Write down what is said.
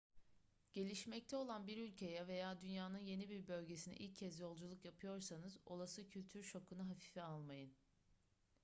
gelişmekte olan bir ülkeye veya dünyanın yeni bir bölgesine ilk kez yolculuk yapıyorsanız olası kültür şokunu hafife almayın